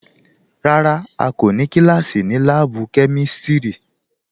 Rárá à kò ní kílásí ní láàbù kẹmísítí